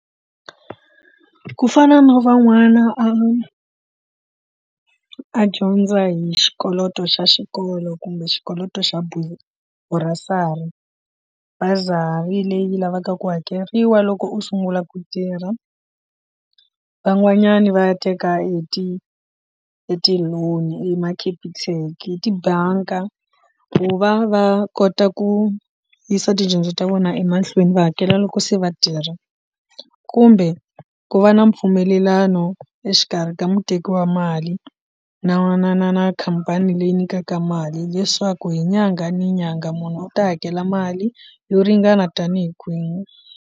Ku fana no van'wana a a dyondza hi xikoloto xa xikolo kumbe xikoloto xa bursary bazari leyi lavaka ku hakeriwa loko u sungula ku tirha van'wanyani va ya teka hi ti e ti loan ema capitec hi tibanka ku va va kota ku yisa tidyondzo ta vona emahlweni va hakela loko se vatirhi kumbe ku va na mpfumelelano exikarhi ka muteki wa mali na na na na khampani leyi nyikaka mali leswaku hi nyanga ni nyanga munhu u ta hakela mali yo ringana tanihi kwini.